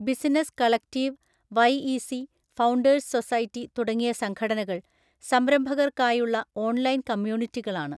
Business collective, YEC, founders society തുടങ്ങിയ സംഘടനകൾ സംരംഭകർക്കായുള്ള ഓൺലൈൻ കമ്മ്യൂണിറ്റികളാണ്.